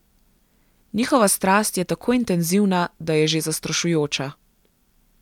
Njihova strast je tako intenzivna, da je že zastrašujoča.